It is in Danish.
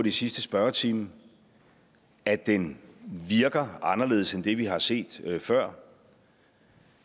i sidste spørgetime at den virker anderledes end det vi har set før